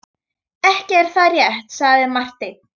Ekki er það rétt, sagði Marteinn.